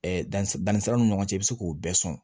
danni siraw ni ɲɔgɔn cɛ i bɛ se k'o bɛɛ sɔn